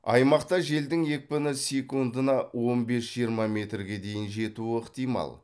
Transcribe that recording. аймақта желдің екпіні секундына он бес жиырма метрге дейін жетуі ықтимал